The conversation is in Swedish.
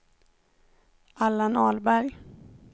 Allan Ahlberg